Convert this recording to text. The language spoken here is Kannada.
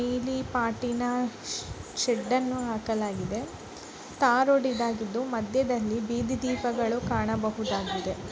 ನೀಲಿ ಪಾಟಿನ ಶೆ-ಶೆಡ್ ಅನ್ನು ಹಾಕಲಾಗಿದೆ. ಟಾರ್ ರೋಡ್ ಇದಾಗಿದ್ದು ಮಧ್ಯದಲ್ಲಿ ಬೀದಿ ದೀಪಗಳು ಕಾಣ ಬಹುದಾಗಿದೆ.